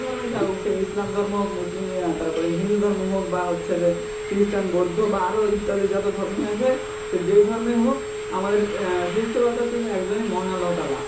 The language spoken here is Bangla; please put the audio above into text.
কিভাবে সেই ইসলাম ধর্ম মুসলিম ইয়া তারপরে হিন্দু ধর্ম হোক, বা হচ্ছে যে খ্রীস্টান বৌদ্ধ বা ইত্যাদি যত ধর্মই আছে সে যেই ধর্মেই হোক, আমাদের আহ সৃষ্টি কর্তা হচ্ছে একজনই মহাল আল্লহ তালা.